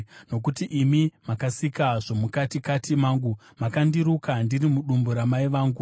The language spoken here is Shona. Nokuti imi makasika zvomukatikati mangu; makandiruka ndiri mudumbu ramai vangu.